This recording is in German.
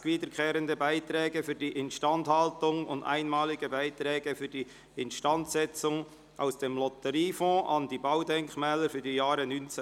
«Wiederkehrende Beiträge für die Instandhaltung und einmalige Beiträge für die Instandsetzung aus dem Lotteriefonds an die Baudenkmäler für die Jahre 2019 bis 2022».